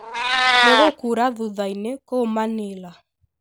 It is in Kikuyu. ni gũkuura thutha-ini kũu manila